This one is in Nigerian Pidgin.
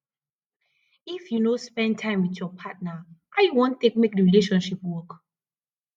if you no dey spend time wit your partner how you wan take make di relationship work